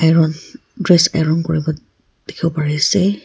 dress aron kuribo dikhiwo pari ase.